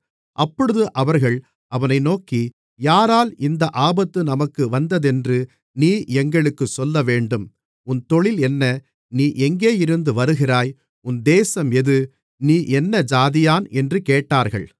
அப்பொழுது அவர்கள் அவனை நோக்கி யாரால் இந்த ஆபத்து நமக்கு வந்ததென்று நீ எங்களுக்குச் சொல்லவேண்டும் உன் தொழில் என்ன நீ எங்கேயிருந்து வருகிறாய் உன் தேசம் எது நீ என்ன ஜாதியான் என்று கேட்டார்கள்